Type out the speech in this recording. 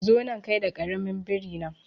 Zo nan kai da karamin biri na